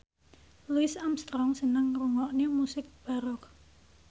Louis Armstrong seneng ngrungokne musik baroque